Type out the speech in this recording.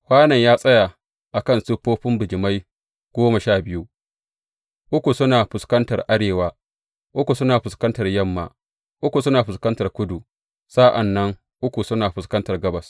Kwanon ya tsaya a kan siffofin bijimai goma sha biyu, uku suna fuskantar arewa, uku suna fuskantar yamma, uku suna fuskantar kudu, sa’an nan uku suna fuskantar gabas.